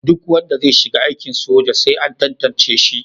Duk wanda zai shiga aikin soja sai an tantance shi.